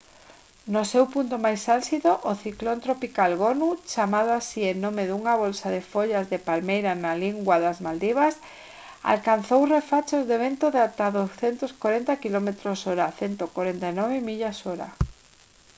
no seu punto máis álxido o ciclón tropical gonu chamado así en nome dunha bolsa de follas de palmeira na lingua das maldivas alcanzou refachos de vento de ata 240 quilómetros/hora 149 millas/hora